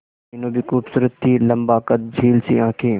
मीनू भी खूबसूरत थी लम्बा कद झील सी आंखें